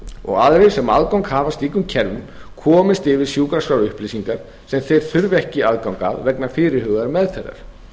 og aðrir sem aðgang hafa að slíkum kerfum komist yfir sjúkraskrárupplýsingar sem þeir þurfi ekki aðgang að vegna fyrirhugaðrar meðferðar